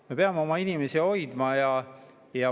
Me peame oma inimesi hoidma.